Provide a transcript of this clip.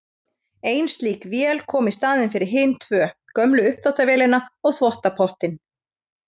Ein slík vél kom í staðinn fyrir hin tvö, gömlu þvottavélina og þvottapottinn.